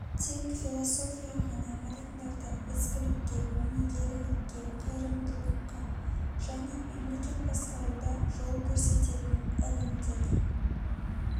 тек философия ғана адамдарды ізгілікке өнегелілікке қайырымдылыққа және мемлекет басқаруда жол көрсететін ілім деді